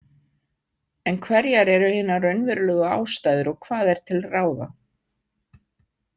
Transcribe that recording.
En hverjar eru hinar raunverulegu ástæður og hvað er til ráða?